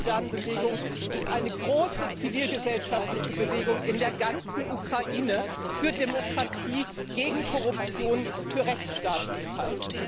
Die Euromajdan Bewegung ist eine große zivilgesellschaftliche Bewegung in der ganzen Ukraine für Demokratie, gegen Korruption, für Rechtsstaatlichkeit.